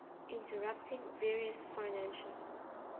interpreting various financial